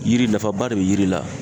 Yiri nafaba de be yiri la.